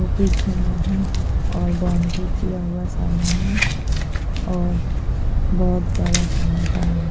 और पीछे में है और बाउंड्री किया हुआ है सामने में और बहुत बड़ा सा मैदान है।